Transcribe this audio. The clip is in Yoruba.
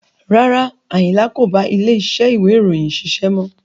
Rárá, Ayinla kò bá ilé iṣẹ́ ìwé ìròyìn ṣiṣẹ́ mọ́.